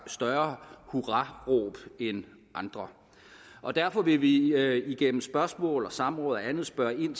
større hurraråb end andre og derfor vil vi igennem spørgsmål og samråd og andet spørge ind